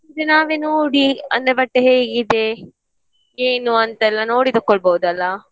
ಇದು ನಾವೇ ನೋಡಿ ಅಂದ್ರೆ ಬಟ್ಟೆ ಹೇಗಿದೆ ಏನು ಅಂತೆಲ್ಲ ನೋಡಿ ತಕ್ಕೊಳ್ಬೋದಲ್ಲ.